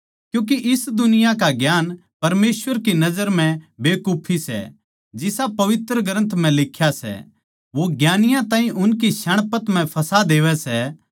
क्यूँके इस दुनिया का ज्ञान परमेसवर की नजर म्ह बेकुफी सै जिसा पवित्र ग्रन्थ म्ह लिख्या सै वो ज्ञानियाँ ताहीं उनकी श्याणपत म्ह फँसा देवै सै